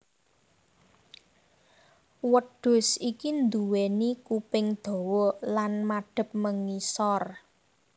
Wedhus iki nduwéni kuping dawa lan madhep mengisor